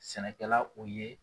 Sɛnɛkɛla o ye.